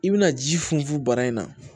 I bɛna ji funfun bana in na